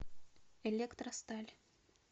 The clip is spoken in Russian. электросталь